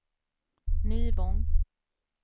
Nyvång